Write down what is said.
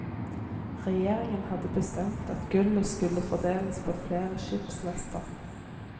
Regjeringen hadde bestemt at gullet skulle fordeles på flere skipslaster.